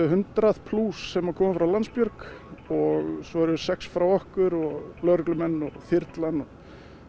hundrað sem komu frá Landsbjörg og svo eru sex frá okkur og lögreglumenn og þyrlan